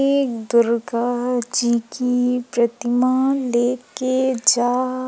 एक दुर्गा जी की प्रतिमा लेके जा--